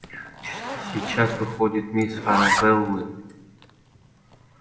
сейчас выходит мисс арабеллы